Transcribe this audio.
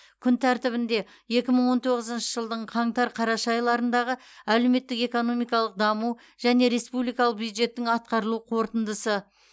күн тәртібінде екі мың он тоғызыншы жылдың қаңтар қараша айларындағы әлеуметтік экономикалық даму және республикалық бюджеттің атқарылу қорытындысы